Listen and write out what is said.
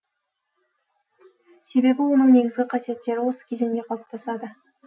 себебі оның негізгі қасиеттері осы кезеңде қалыптасады